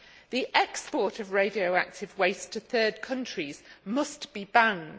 The export of radioactive waste to third countries must be banned.